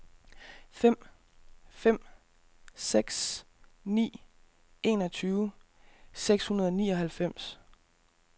fem fem seks ni enogtyve seks hundrede og nioghalvfems